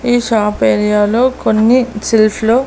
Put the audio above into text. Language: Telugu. ఈ షాప్ ఏరియాలో కొన్ని సెల్ఫ్ లో --